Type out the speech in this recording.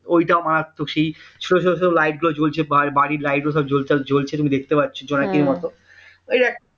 ওইটা মারাত্মক সেই ছোট ছোট light গুলো জ্বলছে বাড়ির light গুলো জ্বলছে তুমি দেখতে পাচ্ছো জোনাকির মতো ওই একটা